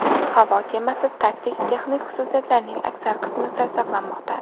Havo kemasi taktik-texnik xususiyatlarining aksar qismi sir saqlanmoqda.